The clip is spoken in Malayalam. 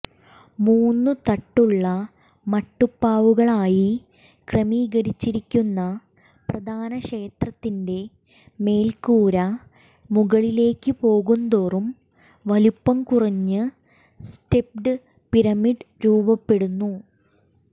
മൂന്ന് തട്ടുള്ള മട്ടുപ്പാവുകളായി ക്രമീകരിച്ചിരിക്കുന്ന പ്രധാന ക്ഷേത്രത്തിന്റെ മേൽക്കൂര മുകളിലേയ്ക്കുപോകുന്തോറും വലുപ്പം കുറഞ്ഞു സ്റ്റെപ്പ്ഡ് പിരമിഡ് രൂപപ്പെടുന്നു